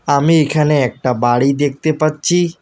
আমি এইখানে একটা বাড়ি দেখতে পাচ্ছি।